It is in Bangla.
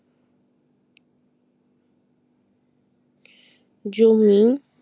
জমি